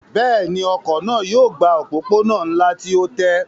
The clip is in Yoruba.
Bẹ́ẹ̀ni, ọkọ̀ náà yóò gba òpópónà ńlá tí ó tẹ́